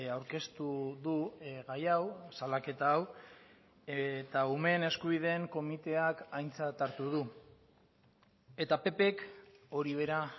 aurkeztu du gai hau salaketa hau eta umeen eskubideen komiteak aintzat hartu du eta ppk hori bera